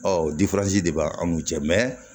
Ɔ de b'a an n'u cɛ